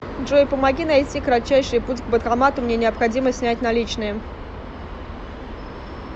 джой помоги найти кратчайший путь к банкомату мне необходимо снять наличные